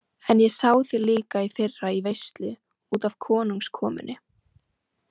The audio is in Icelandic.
En ég sá þig líka í fyrra í veislu út af konungskomunni.